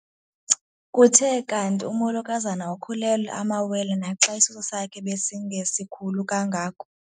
Kuthe kanti umolokazana ukhulelwe amawele naxa isisu sakhe besingesikhulu kangako.